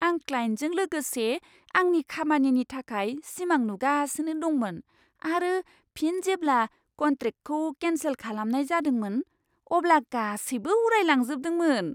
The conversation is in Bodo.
आं क्लाइन्टजों लोगोसे आंनि खामानिनि थाखाय सिमां नुगासिनो दंमोन आरो फिन जेब्ला कन्ट्रेक्टखौ केन्सेल खालामनाय जादोंमोन, अब्ला गासैबो उरायलांजोबदोंमोन!